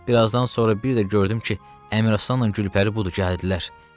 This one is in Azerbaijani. Bir azdan sonra bir də gördüm ki, Əmir Aslanla Gülpəri budur gəldilər.